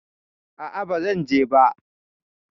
A'a, ba zan je ba.